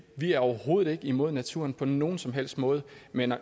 vi er overhovedet ikke imod naturen på nogen som helst måde men